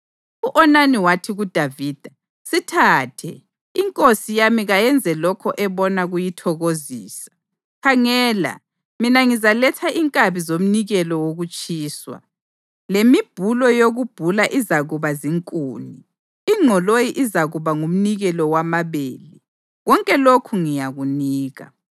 U-Onani wathi kuDavida, “Sithathe! Inkosi yami kayenze lokho ebona kuyithokozisa. Khangela, mina ngizaletha inkabi zomnikelo wokutshiswa, lemibhulo yokubhula izakuba zinkuni, ingqoloyi izakuba ngumnikelo wamabele. Konke lokhu ngiyakunika.”